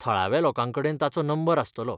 थळाव्या लोकांकडेन ताचो नंबर आसतलो.